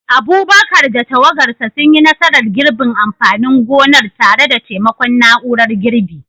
Abubakar da tawagarsa sun yi nasarar girbin amfanin gonar tare da taimakon na'urar girbi,